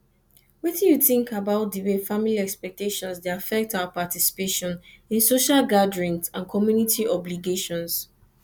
wetin you think about think about di way family expectations dey affect our participation in social gatherings and coomunity obligations